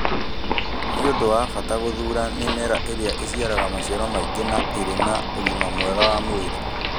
Nĩ ũndũ wa bata gũthuura mĩmera ĩrĩa ĩciaraga maciaro maingĩ na ĩrĩ na ũgima mwega wa mwĩrĩ.